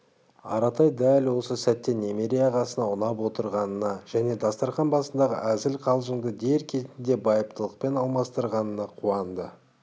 аратай дәл осы сәтте немере ағасына ұнап отырғанына және дастарқан басындағы әзіл-қалжыңды дер кезінде байыптылықпен алмастырғанына қуанды